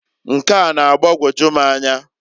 Nke a na-agbagoju m anya.